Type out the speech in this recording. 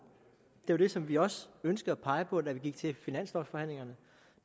det var det som vi også ønskede at pege på da vi gik til finanslovforhandlingerne